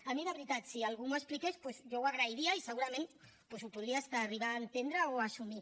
a mi de veritat si algú m’ho expliqués doncs jo ho agrairia i segurament ho podria fins arribar a entendre o a assumir